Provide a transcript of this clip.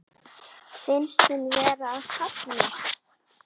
Finnst hún vera að kafna.